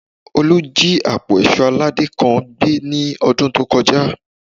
Olú jí àpò èṣó aládé kan gbé ní ọdún tó kọjá